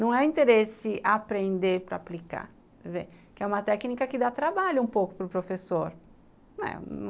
Não é interesse aprender para aplicar, quer dizer, que é uma técnica que dá trabalho um pouco para o professor, né.